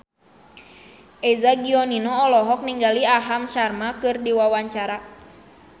Eza Gionino olohok ningali Aham Sharma keur diwawancara